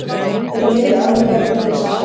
Þetta er mikið áhyggjuefni fyrir samtökin